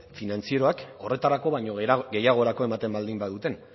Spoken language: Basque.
finantzieroak horretarako baino gehiagorako ematen baldin baduten